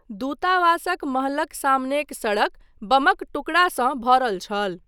दूतावासक महलक सामनेक सड़क बमक टुकड़ासँ भरल छल।